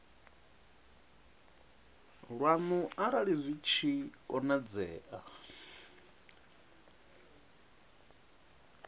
lwanu arali zwi tshi konadzea